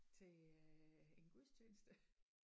Til øh en gudstjeneste